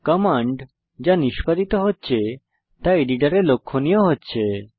command যা নিস্পাদিত হচ্ছে তা এডিটরে লক্ষনীয় হচ্ছে